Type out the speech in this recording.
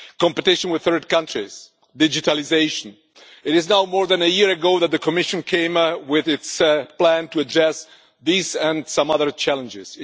Competition with third countries, digitalisation it is now more than a year ago that the Commission came with its plan to address these and some other challenges.